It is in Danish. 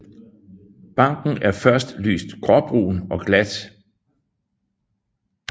Barken er først lyst gråbrun og glat